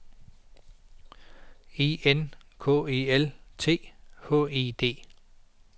E N K E L T H E D